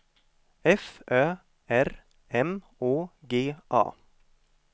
F Ö R M Å G A